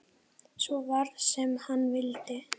Svo varð sem hann vildi.